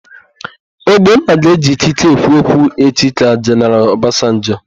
Ogbonna ga-eji ikike ekwu okwu echi ka Jeneral Ọbasanjọ.